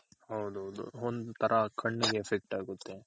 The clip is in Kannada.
ಹೌದೌದು ಒಂತರ ಕಣ್ಣಿಗೆ Effect ಆಗುತ್ತೆ.